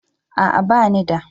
A'a ba ni da.